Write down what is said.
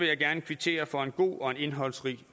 jeg gerne kvittere for en god og en indholdsrig